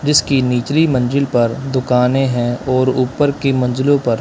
जिसकी निचली मंजिल पर दुकानें हैं और ऊपर की मंजिलों पर--